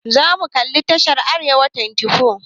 Za mu kalli tashar Arewa24.